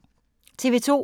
TV 2